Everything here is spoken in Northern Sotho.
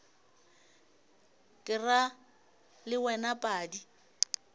ke ra le wena padi